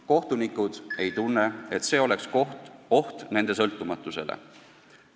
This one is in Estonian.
Kohtunikud ei tunne, et see oleks oht nende sõltumatusele.